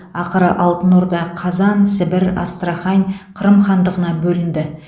ақыры алтын орда қазан сібір астрахань қырым хандығына бөлінді